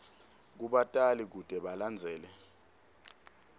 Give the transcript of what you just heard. kubatali kute balandzelele